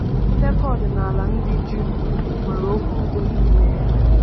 Ndekọ ọdịnala ndị Juu nwere okwu “udo” n’ime ya.